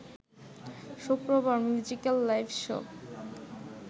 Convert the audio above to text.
শুক্রবার musical live show